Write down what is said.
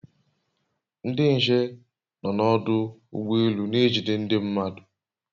Ndị nche nọ n'ọdụ ụgbọ elu na-ejide ndị mmadụ